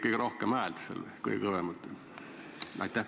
Kas sa tegid seal kõige kõvemat häält?